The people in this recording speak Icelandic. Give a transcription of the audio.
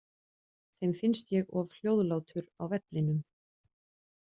Þeim finnst ég of hljóðlátur á vellinum.